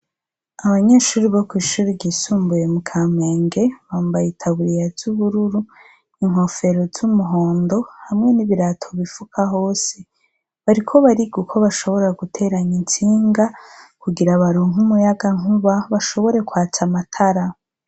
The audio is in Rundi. Abanyeshuri bo kw'ishuri ryisumbuye mu kamenge bambaye itaburiya ry'ubururu , inkofero z'umuhondo hamwe n'ibirato bifuka hose. Bariko bariga uko bashobora guteranya intsinga kugira baronke umuyaga nkuba bashobore kwaca amatara.